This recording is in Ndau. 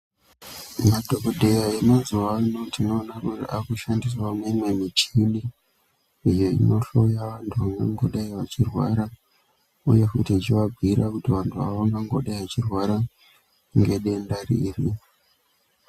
Madhokodheya emazuano ano tinoona kuti akushandisa mimwe michini yeinohloya antu vanongodai vechirwara uye futi yechivabhuira kuti vantu ava vangangodai vechirwara ngedenda riri.